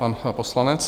Pan poslanec.